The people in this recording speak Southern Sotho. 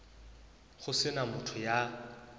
ho se na motho ya